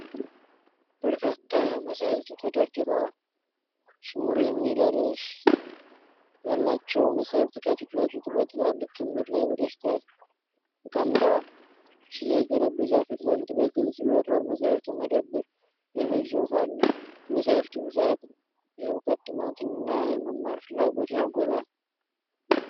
በርካታ መጻሕፍት ተደርድረዋል። "ስሙር" የሚል ርዕስ ያላቸው መጻሕፍት ከፊት ለፊት በትላልቅ ክምር ላይ በደስታ ተቀምጠዋል። የሽያጭ ጠረጴዛው ፊት ለፊት በግልጽ "ዮቶር መጻሕፍት መደብር" የሚል ጽሑፍ አለው። የመጻሕፍቱ ብዛት የእውቀት ጥማትንና የመማር ፍላጎትን ያጎላል።